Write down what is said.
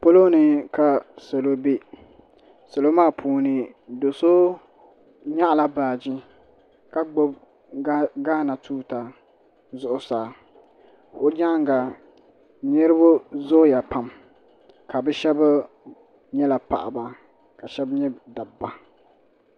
pɔlɔ ni ka salo bɛ salo maa puuni do so nyaɣala baaji ka gbubi gaana tuuta zuɣusaa o nyaanga niraba zooya pam ka bi shab nyɛla paɣaba ka bi shab nyɛ dabba